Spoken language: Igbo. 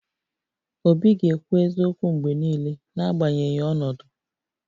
Obi ga-ekwu eziokwu mgbe niile, n'agbanyeghị ọnọdụ